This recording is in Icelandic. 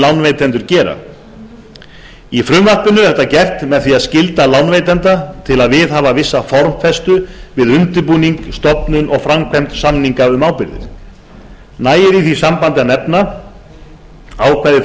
lánveitendur gera í frumvarpinu er þetta gert með því að skylda lánveitanda til að viðhafa vissa formfestu við undirbúning stofnun og framkvæmd samninga um ábyrgðir nægir í því sambandi að nefna ákvæði